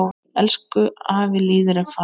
Elsku afi Lýður er farinn.